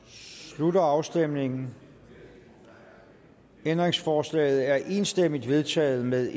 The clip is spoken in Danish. slutter afstemningen ændringsforslaget er enstemmigt vedtaget med